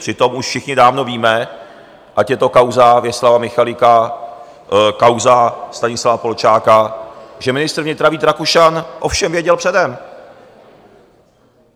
Přitom už všichni dávno víme, ať je to kauza Věslava Michalika, kauza Stanislava Polčáka, že ministr vnitra Vít Rakušan o všem věděl předem.